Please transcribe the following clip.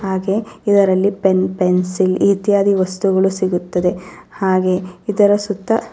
ಹಾಗೆ ಇದರಲ್ಲಿ pen pencil ಇತ್ಯಾದಿ ವಸ್ತುಗಳು ಸಿಗುತ್ತದೆ ಹಾಗೆ ಇದರ ಸುತ್ತ --